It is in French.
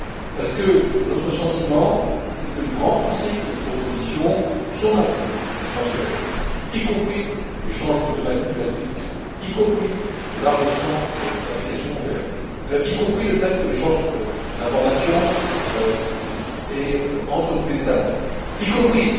Parce que notre sentiment est que les grands principes de notre proposition sont maintenus dans ce texte, y compris l'échange automatique des rescrits fiscaux, y compris le large champ d'application couvert, y compris l'échange d'informations entre tous les États membres, y compris